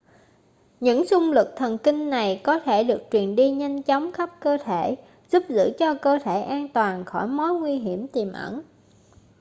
những xung lực thần kinh này có thể được truyền đi nhanh chóng khắp cơ thể giúp giữ cho cơ thể an toàn khỏi mối nguy hiểm tiềm ẩn